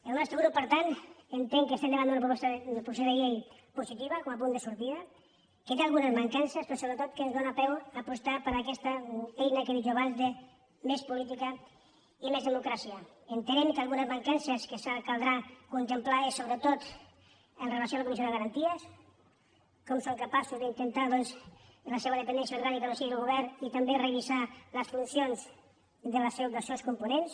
el nostre grup per tant entén que estem davant d’una proposició de llei positiva com a punt de sortida que té algunes mancances però sobretot que ens dóna peu a apostar per aquesta eina que he dit jo abans de més política i més democràcia entenent que algunes mancances que caldrà contemplar i sobretot amb relació a la comissió de garanties com som capaços d’intentar doncs que la seva dependència orgànica no sigui del govern i també revisar les funcions dels seus components